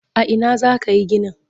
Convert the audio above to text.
A ina za ka yi ginin?